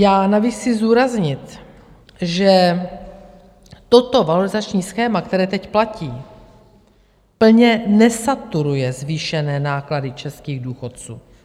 Já navíc chci zdůraznit, že toto valorizační schéma, které teď platí, plně nesaturuje zvýšené náklady českých důchodců.